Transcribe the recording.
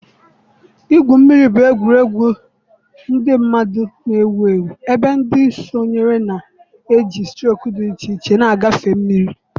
igwu mmiri bụ egwuregwu ndị mmadụ na-ewu ewu ebe ndị sonyere na-eji strok dị iche iche na-agafe mmiri.